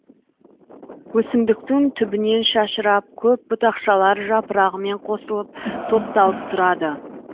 өсімдіктің түбінен шашырап көп бұтақшалар жапырағымен қосылып топталып тұрады